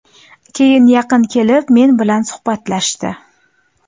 Keyin yaqin kelib, men bilan suhbatlashdi.